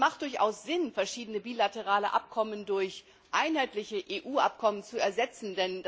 Es ist durchaus sinnvoll, verschiedene bilaterale Abkommen durch ein einheitliches EU Abkommen zu ersetzen.